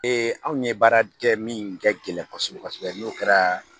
anw ye baara kɛ min kɛ gɛlɛn kosɛbɛ kosɛbɛ n'o kɛra